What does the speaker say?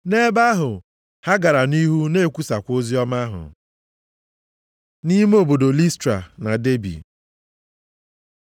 Nʼebe ahụ, ha gara nʼihu na-ekwusakwa oziọma ahụ. Nʼime obodo Listra na Debi